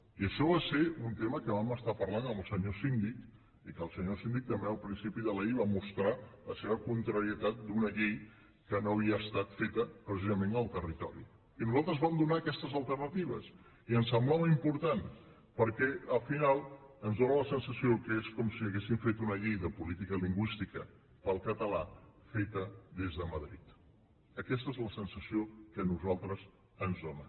i això va ser un tema que vam estar parlant amb el senyor síndic i que el senyor síndic també al principi de la llei va mostrar la seva contrarietat per una llei que no havia estat feta precisament en el territori i nosaltres vam donar aquestes alternatives i ens semblava important perquè al final ens dóna la sensació que és com si haguessin fet una llei de política lingüística per al català feta des de madrid aquesta és la sensació que a nosaltres ens dóna